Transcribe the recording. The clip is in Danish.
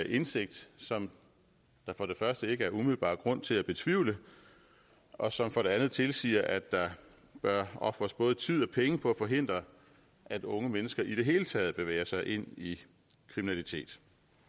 indsigt som der for det første ikke er umiddelbar grund til at betvivle og som for det andet tilsiger at der bør ofres både tid og penge på at forhindre at unge mennesker i det hele taget bevæger sig ind i kriminalitet